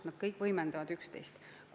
Need kõik võimendavad üksteist.